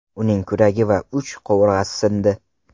Uning kuragi va uch qovurg‘asi sindi.